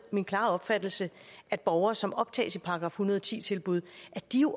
min klare opfattelse at borgere som optages i § en hundrede og ti tilbud